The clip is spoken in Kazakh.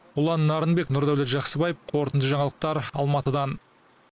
ұлан нарынбек нұрдәулет жақсыбаев қорытынды жаңалықтар алматыдан